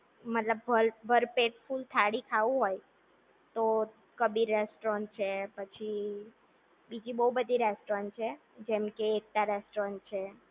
મતલબ ભરપેટ ફુલ થાળી ખાવુ હોય તો, કબીર રેસ્ટોરન્ટ છે. પછી બીજી બોવ બધી રેસ્ટોરન્ટ છે. જેમ કે એકતા રેસ્ટોરન્ટ છે. પછી હમીંગબાર્ડ છે. કર્મા